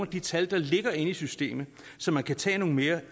de tal der ligger inde i systemet så man kan tage nogle mere